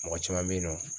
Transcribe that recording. Mɔgɔ caman bɛ yen nɔ